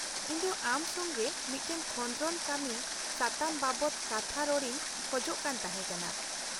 -ᱤᱧ ᱫᱚ ᱟᱢ ᱥᱚᱸᱜᱮ ᱢᱤᱫᱴᱟᱝ ᱠᱷᱚᱫᱨᱚᱱ ᱠᱟᱹᱢᱤ ᱥᱟᱛᱟᱢ ᱵᱟᱵᱚᱛ ᱠᱟᱛᱷᱟ ᱨᱚᱲᱤᱧ ᱠᱷᱚᱡᱽ ᱠᱟᱱ ᱛᱟᱦᱮᱸᱠᱟᱱᱟ ᱾